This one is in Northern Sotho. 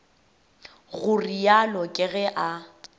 go realo ke ge a